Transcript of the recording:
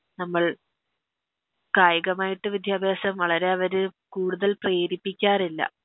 നമ്മൾ കായികമായിട്ട് വിദ്യാഭ്യാസം വളരെ അവര് കൂടുതൽ പ്രേരിപ്പിക്കാറില്ല